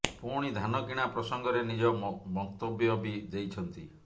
ପୁଣି ଧାନ କିଣା ପ୍ରସଙ୍ଗରେ ନିଜ ମନ୍ତବ୍ୟ ବି ଦେଇଛନ୍ତି